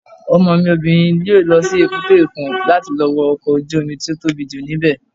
Ọmọ mi obìnrin yóò lọ sí èbúté òkun láti lọ wo ọkọ̀ ojú-omi tó tóbi jù ní bẹ̀